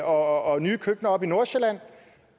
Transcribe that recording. og nye køkkener oppe i nordsjælland